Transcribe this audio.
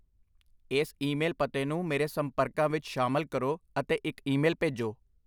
ਇਸ ਈਮੇਲ ਪਤੇ ਨੂੰ ਮੇਰੇ ਸੰਪਰਕਾਂ ਵਿੱਚ ਸ਼ਾਮਲ ਕਰੋ ਅਤੇ ਇੱਕ ਈਮੇਲ ਭੇਜੋ